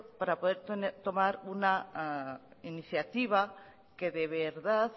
para poder tomar una iniciativa que de verdad